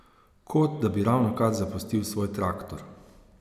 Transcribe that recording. Kot, da bi ravnokar zapustil svoj traktor.